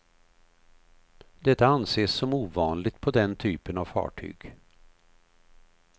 Detta anses som ovanligt på den typen av fartyg.